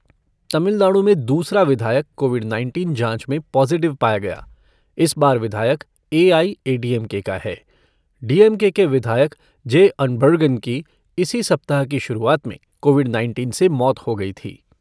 तमिलनाडु में दूसरा विधायक कोविड नाइनटीन जांच में पॉज़िटिव पाया गया, इस बार विधायक एआईएडीएमके का है। डीएमके के विधायक जे अनबझगन की इसी सप्ताह की शुरुआत में कोविड नाइनटीन से मौत हो गई थी।